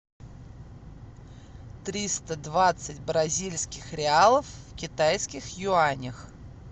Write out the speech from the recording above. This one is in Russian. триста двадцать бразильских реалов в китайских юанях